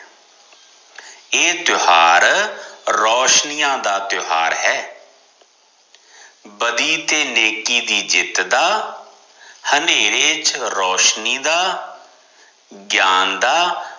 ਇਹ ਤਿਓਹਾਰ ਰੋਸ਼ਨੀਆ ਦਾ ਤਿਓਹਾਰ ਹੈ ਬਦੀ ਤੇ ਨੇਕੀ ਦੀ ਜਿੱਤ ਦਾ ਹਨੇਰੇ ਚ ਰੋਸ਼ਨੀ ਦਾ ਗਿਆਨ ਦਾ